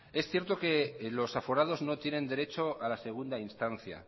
es cierto que los aforados no tienen derecho a la segunda instancia